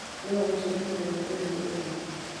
no ũnjĩĩre mũthenya ũyũ nĩ ũrĩkũ